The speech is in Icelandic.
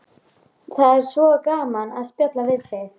Það er svo gaman að spjalla við þig.